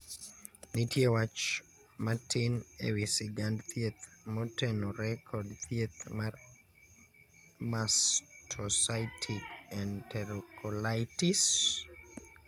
nitie wach matin ewi sigand thieth motenore kod thieth mar mastocytic enterocolitis.